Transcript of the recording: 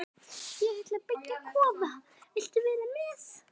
Ég ætla að byggja kofa, viltu vera með?